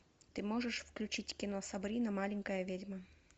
ты можешь включить кино сабрина маленькая ведьма